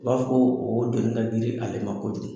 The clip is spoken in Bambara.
U b'a fɔ koo o doni ka giri ale ma kojugu.